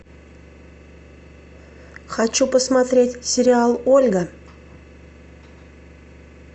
хочу посмотреть сериал ольга